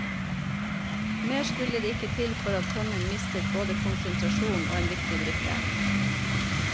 Mer skulle det ikke til for at kongen mistet både konsentrasjonen og en viktig brikke.